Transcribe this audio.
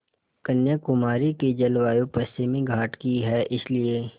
कन्याकुमारी की जलवायु पश्चिमी घाट की है इसलिए